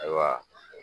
Ayiwa